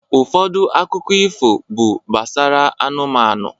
Ụfọdụ akụkọ ifo bụ gbasara anụmanụ.